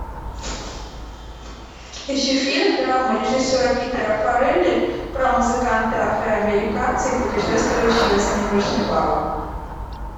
ищи фильм драму режиссера питера фаррелли про музыканта афроамериканца и путешествующего с ним вышибалу